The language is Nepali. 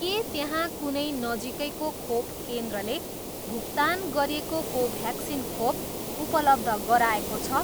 के त्यहाँ कुनै नजिकैको खोप केन्द्रले भुक्तान गरिएको कोभ्याक्सिन खोप उपलब्ध गराएको छ?